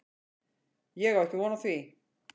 Ég á ekki von á því.